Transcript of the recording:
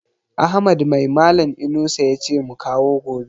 Ahmad mai malan Inusa yace mu kawo gobe?